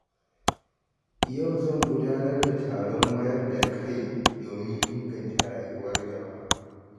Yau zan gudanar da taron wayar da kai domin inganta rayuwar jama’a.